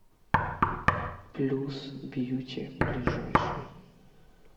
плюс бьюти ближайший